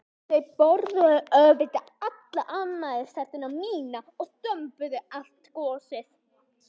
Þau borðuðu auðvitað alla afmælistertuna mína og þömbuðu allt gosið.